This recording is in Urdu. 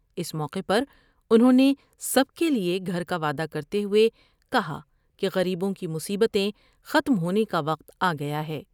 اس موقع پر انھوں نے سب کے لئے گھر کا وعدہ کرتے ہوۓ کہا کہ غریبوں کی مصیبتیں ختم ہونے کا وقت آ گیا ہے ۔